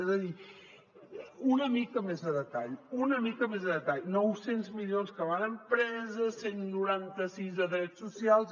és a dir una mica més de detall una mica més de detall nou cents milions que van a empreses cent i noranta sis a drets socials